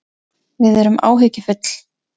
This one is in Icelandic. Við erum áhyggjufull